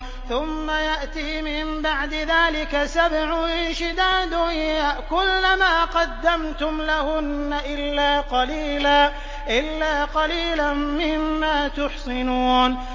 ثُمَّ يَأْتِي مِن بَعْدِ ذَٰلِكَ سَبْعٌ شِدَادٌ يَأْكُلْنَ مَا قَدَّمْتُمْ لَهُنَّ إِلَّا قَلِيلًا مِّمَّا تُحْصِنُونَ